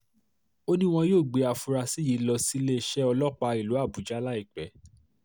ó ní wọn yóò gbé àfúrásì yìí lọ síléeṣẹ́ ọlọ́pàá ìlú àbújá láìpẹ́